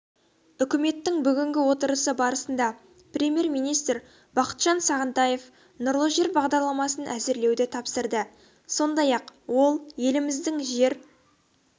үкіметтің бүгінгі отырысы барысында премьер-министр бақытжан сағынтаев нұрлы жер бағдарламасын әзірлеуді тапсырды сондай-ақ ол еліміздің жер